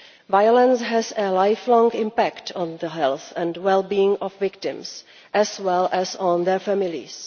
Violence has a lifelong impact on the health and wellbeing of victims, as well as on their families.